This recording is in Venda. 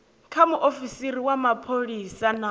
kha muofisiri wa mapholisa na